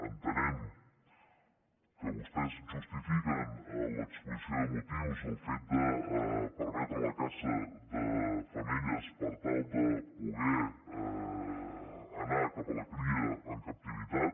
entenem que vostès justifiquen a l’exposició de motius el fet de permetre la caça de femelles per tal de poder anar cap a la cria en captivitat